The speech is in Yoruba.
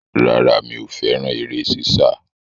Rárá, mi ò fẹ́rà eré sísá.